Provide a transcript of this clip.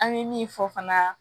An bɛ min fɔ fana